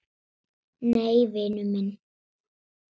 Nei, vinur minn.